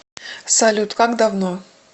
салют как давно